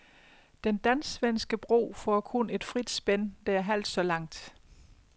Den dansksvenske bro får kun et frit spænd, der er halvt så langt.